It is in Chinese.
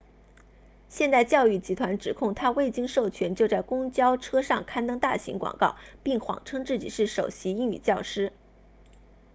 现代教育集团指控他未经授权就在公交车上刊登大型广告并谎称自己是首席英语教师